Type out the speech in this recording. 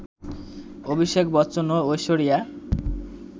অভিষেক বচ্চন ও ঐশ্বরিয়া